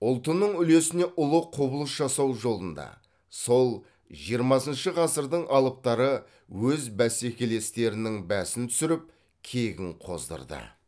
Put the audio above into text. ұлтының үлесіне ұлы құбылыс жасау жолында сол жиырмасыншы ғасырдың алыптары өз бәсекелестерінің бәсін түсіріп кегін қоздырды